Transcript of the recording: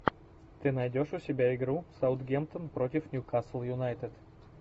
ты найдешь у себя игру саутгемптон против ньюкасл юнайтед